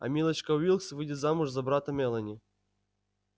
а милочка уилкс выйдет замуж за брата мелани